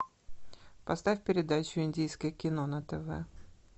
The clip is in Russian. поставь передачу индийское кино на тв